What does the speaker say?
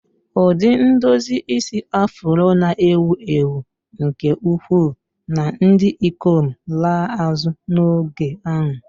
Ụdị idozi isi Afro na-ewu ewu nke ukwuu na ndị ikom laa azụ n'oge ahụ.